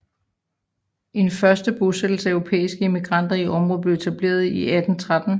En første bosættelse af europæiske immigranter i området blev etableret i 1813